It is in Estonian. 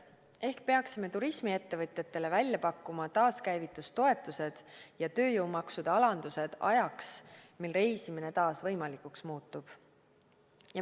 Ehk peaksime turismiettevõtjatele välja pakkuma taaskäivitustoetused ja tööjõumaksude alandused ajaks, mil reisimine taas võimalikuks muutub.